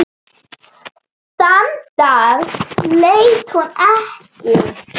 Þann dag leit hún ekki.